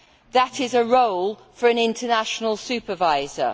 That is a role for an international supervisor.